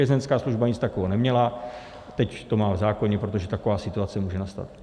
Vězeňská služba nic takového neměla, teď to má v zákoně, protože taková situace může nastat.